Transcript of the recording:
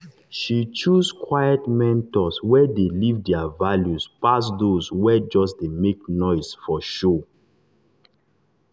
she choose quiet mentors wey dey live their values pass those wey just dey make noise for show.